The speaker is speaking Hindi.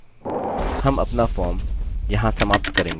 हम अपना फॉर्म यहाँ समाप्त करेंगे